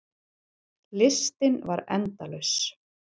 Listinn var endalaus.